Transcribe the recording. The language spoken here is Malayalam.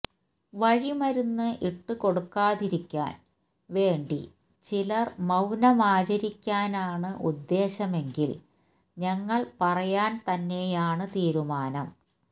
വഴിമരുന്ന് ഇട്ടുകൊടുക്കാതിരിക്കാൻ വേണ്ടി ചിലർ മൌനമാചരിക്കാനാണ് ഉദ്ദേശ്യമെങ്കിൽ ഞങ്ങൾ പറയാൻ തന്നെയാണ് തീരുമാനം